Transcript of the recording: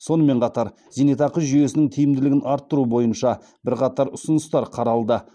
сонымен қатар зейнетақы жүйесінің тиімділігін арттыру бойынша бірқатар ұсыныстар қаралды